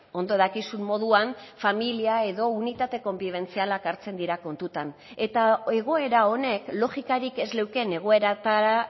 ondo dakizun moduan familia edo unitate konbibentzialak hartzen dira kontutan eta egoera honek logikarik ez leuken egoeratara